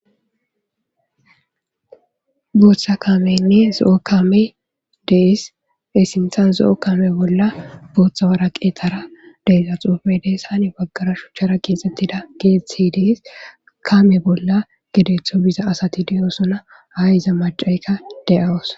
Booththa kameynne zo7o kame deis esinthan zo7o kame bolla booththa wara qeexara deiza xoufe dees hani baggara shuchchara geexxettida geethi dees kame bolla gedeththo biza asati diyosona hay iza macayka de7awos.